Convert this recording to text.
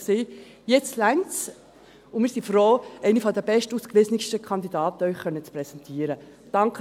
Jetzt reicht es, und wir sind froh, Ihnen eine der bestausgewiesenen Kandidatinnen präsentieren zu können.